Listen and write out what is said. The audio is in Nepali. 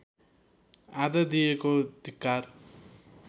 आदर दिएको धिक्कार